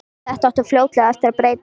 Þetta átti fljótlega eftir að breytast.